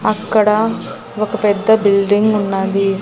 అక్కడ ఒక పెద్ద బిల్డింగ్ ఉన్నది.